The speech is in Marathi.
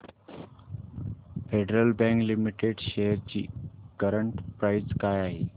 फेडरल बँक लिमिटेड शेअर्स ची करंट प्राइस काय आहे